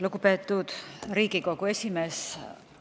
Lugupeetud Riigikogu esimees!